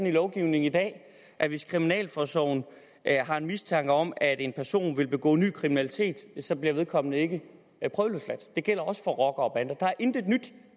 i lovgivningen i dag at hvis kriminalforsorgen har en mistanke om at en person vil begå ny kriminalitet så bliver vedkommende ikke prøveløsladt det gælder også for rockere og bander der er intet nyt